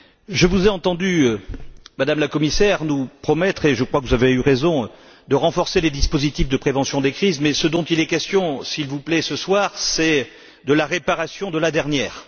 Je vous ai entendue, Madame la Commissaire, nous promettre et je crois que vous avez eu raison de renforcer les dispositifs de prévention des crises, mais ce dont il est question, s'il vous plaît, ce soir, c'est de la réparation de la dernière.